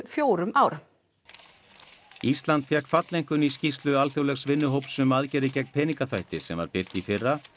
fjórum árum ísland fékk falleinkunn í skýrslu alþjóðlegs vinnuhóps um aðgerðir gegn peningaþvætti sem var birt í fyrra